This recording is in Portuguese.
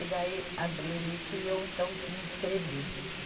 E daí abriu isso e eu, então, me inscrevi.